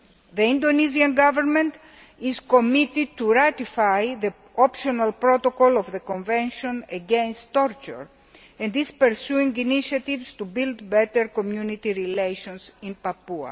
The Indonesian Government is committed to ratifying the Optional Protocol of the Convention Against Torture and is pursuing initiatives to build better community relations in Papua.